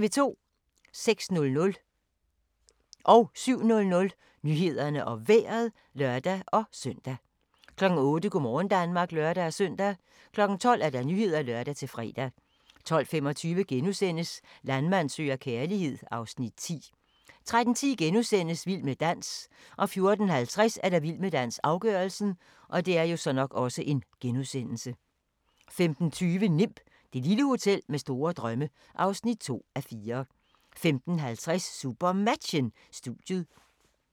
06:00: Nyhederne og Vejret (lør-søn) 07:00: Nyhederne og Vejret (lør-søn) 08:00: Go' morgen Danmark (lør-søn) 12:00: Nyhederne (lør-fre) 12:25: Landmand søger kærlighed (Afs. 10)* 13:10: Vild med dans * 14:50: Vild med dans - afgørelsen 15:20: Nimb - det lille hotel med store drømme (2:4) 15:50: SuperMatchen: Studiet 16:05: SuperMatchen: Bjerringbro-Silkeborg - Skjern (m)